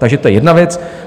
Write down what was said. Takže to je jedna věc.